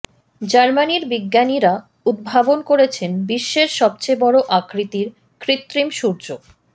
জার্মানির বিজ্ঞানীরা উদ্ভাবন করেছেন বিশ্বের সবচেয়ে বড় আকৃতির কৃত্রিম সূর্য